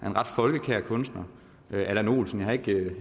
en ret folkekær kunstner allan olsen jeg